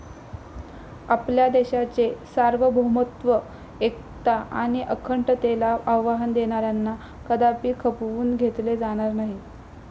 आपल्या देशाचे सार्वभौमत्व, एकता आणि अखंडतेला आव्हान देणाऱ्यांना कदापि खपवून घेतले जाणार नाही.